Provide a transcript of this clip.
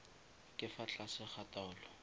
ka fa tlase ga taolo